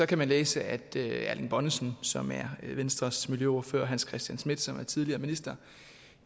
kan man læse at erling bonnesen som er venstres miljøordfører og hans christian schmidt som er tidligere minister